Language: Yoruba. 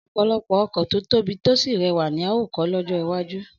Ọ̀pọ̀lọpọ̀ ọkọ̀ tó tóbi tó sì rẹwà ni a óò kọ́ lọ́jọ́ iwájú